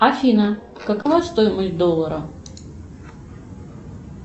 афина какова стоимость доллара